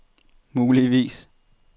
muligvis